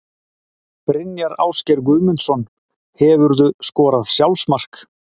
Brynjar Ásgeir Guðmundsson Hefurðu skorað sjálfsmark?